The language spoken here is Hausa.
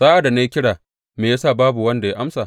Sa’ad da na yi kira, me ya sa babu wani da ya amsa?